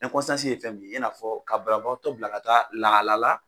ye fɛn min ye i n'a fɔ ka banabaatɔ bila ka taa lahala la